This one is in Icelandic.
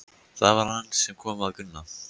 Það var hann sem kom að Gunna.